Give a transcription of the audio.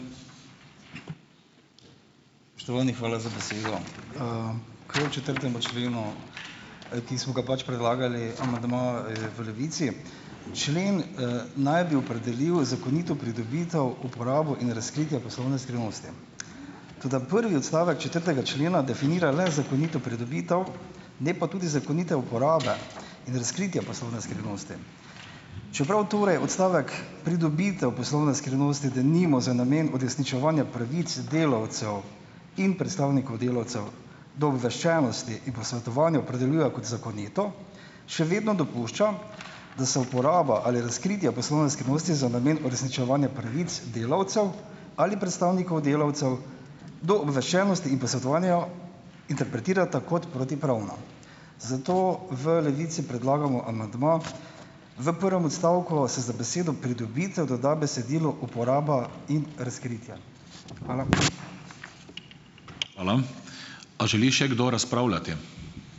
Spoštovani, hvala za besedo. K četrtemu členu, ki smo ga pač predlagali, amandma, v Levici, člen, naj bi opredelil zakonito pridobitev, uporabo in razkritje poslovne skrivnosti. Toda prvi odstavek četrtega člena definira le zakonito pridobitev, ne pa tudi zakonite uporabe in razkritje poslovne skrivnosti. Čeprav torej odstavek pridobitev poslovne skrivnosti, denimo za namen uresničevanja pravic delavcev in predstavnikov delavcev do obveščenosti in posvetovanja, opredeljuje kot zakonito, še vedno dopušča, da se uporaba ali razkritje poslovne skrivnosti za namen uresničevanja pravic delavcev ali predstavnikov delavcev do obveščenosti in posvetovanja interpretirata kot protipravna. Zato v Levici predlagamo amandma, v prvem odstavku se za besedo "pridobitev" doda besedilo "uporaba in razkritje". Hvala.